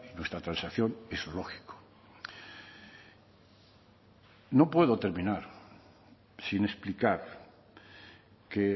nuestra transacción es lógico no puedo terminar sin explicar que